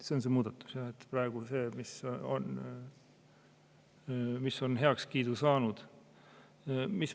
See on see muudatus, mis on praegu heakskiidu saanud.